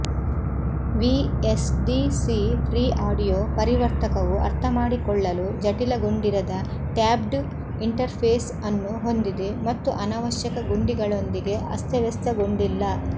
VSDC free audio ಪರಿವರ್ತಕವು ಅರ್ಥಮಾಡಿಕೊಳ್ಳಲು ಜಟಿಲಗೊಂಡಿರದ ಟ್ಯಾಬ್ಡ್ ಇಂಟರ್ಫೇಸ್ ಅನ್ನು ಹೊಂದಿದೆ ಮತ್ತು ಅನವಶ್ಯಕ ಗುಂಡಿಗಳೊಂದಿಗೆ ಅಸ್ತವ್ಯಸ್ತಗೊಂಡಿಲ್ಲ